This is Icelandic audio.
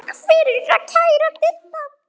Takk fyrir það, kæra Didda.